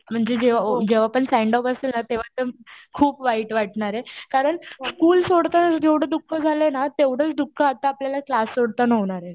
म्हणजे जेव्हा पण सेंड ऑफ असेल ना तेव्हा तर खूप वाईट वाटणार आहे. कारण स्कुल सोडताना जेवढं दुःख झालंय ना तेवढंच दुःख आता आपल्याला क्लास सोडताना होणार आहे.